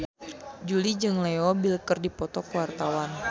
Jui jeung Leo Bill keur dipoto ku wartawan